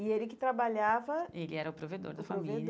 E ele que trabalhava... Ele era o provedor da família. O